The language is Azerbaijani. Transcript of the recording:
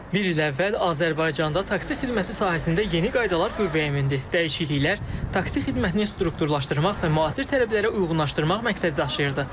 Bir il əvvəl Azərbaycanda taksi xidməti sahəsində yeni qaydalar qüvvəyə mindi, dəyişikliklər taksi xidmətini strukturlaşdırmaq və müasir tələblərə uyğunlaşdırmaq məqsədi daşıyırdı.